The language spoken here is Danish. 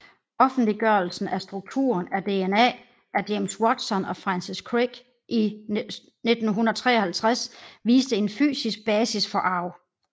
Offentliggørelsen af strukturen af DNA af James Watson og Francis Crick i 1953 viste en fysisk basis for arv